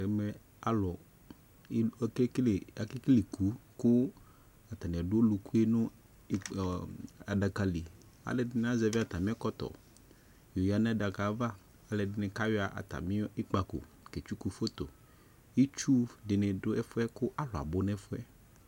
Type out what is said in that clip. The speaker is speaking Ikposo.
ɛmɛ akekele iku, kʊ atanɩ adʊ ɔlʊ yɛ nʊ adaka, alʊɛdɩnɩ azɛvi atamɩ ɛkɔtɔ yɔ yǝ nʊ ɛkplɔ yɛ ava, alʊɛdɩnɩ kayɔ atamɩ ikpako ketsuku iyeye, itsudɩnɩ dʊ ɛfʊ yɛ kʊ alʊ abʊ nʊ ɛfʊ yɛ